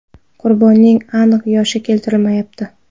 Qurbonning aniq yoshi keltirilmayapti.